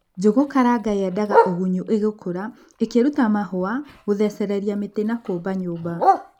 Njũgukaranga yendaga ûgunyu ïgïkûra, ïkïruta mahûa ,gûthecereria mïti na kûmba nyûmba.